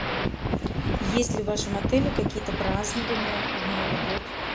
есть ли в вашем отеле какие то празднования в новый год